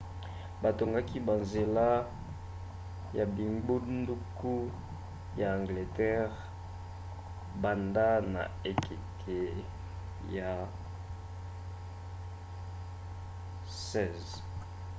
batongaki banzela ya bingbunduku ya angleterre banda na ekeke ya 16